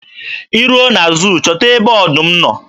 Ị ruo na zuu chọta ebe ọdụm nọ.